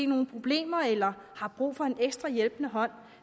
nogle problemer eller har brug for en ekstra hjælpende hånd